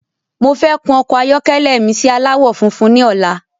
Mofẹ́ kún ọkọ ayọkẹlẹ mi si aláwọ̀ funfun ni ọ̀la